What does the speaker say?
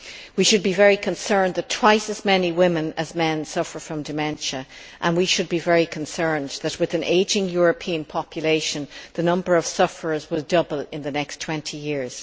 We should be very concerned that twice as many women as men suffer from dementia, and we should be very concerned that with an ageing European population, the number of sufferers will double in the next 20 years.